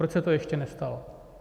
Proč se to ještě nestalo?